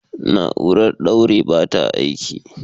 Na'urar ɗaure ba ta aiki